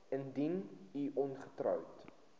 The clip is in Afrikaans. indien u ongetroud